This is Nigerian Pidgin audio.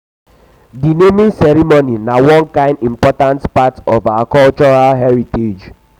di naming ceremony na one kain important part of our cultural heritage